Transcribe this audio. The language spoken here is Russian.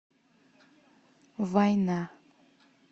война